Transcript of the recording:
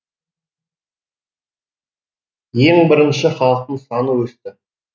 ең бірінші халықтың саны өсті